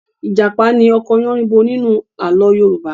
Ìjàpá ni ọkọ Yánníbo nínú àlọ́ Yorùbá.